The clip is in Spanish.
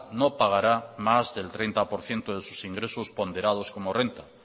no pagará más del treinta por ciento de sus ingresos ponderados como renta